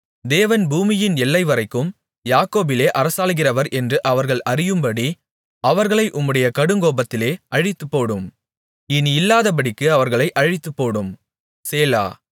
தேவன் பூமியின் எல்லைவரைக்கும் யாக்கோபிலே அரசாளுகிறவர் என்று அவர்கள் அறியும்படி அவர்களை உம்முடைய கடுங்கோபத்திலே அழித்துப்போடும் இனி இல்லாதபடிக்கு அவர்களை அழித்துப்போடும் சேலா